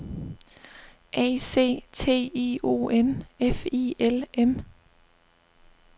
A C T I O N F I L M